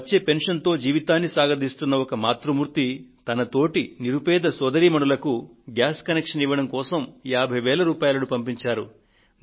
వచ్చే పెన్షన్ తో జీవితాన్ని సాగదీస్తున్న ఒక మాతృమూర్తి తన తోటి నిరుపేద సోదరీమణులకు గ్యాస్ కనెక్షన్ ను ఇవ్వడం కోసం 50000 రూపాయలను పంపించారు